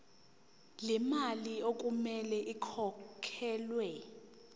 lemali okumele ikhokhelwe